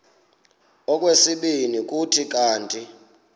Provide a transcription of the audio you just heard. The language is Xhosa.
okwesibini kuthi kanti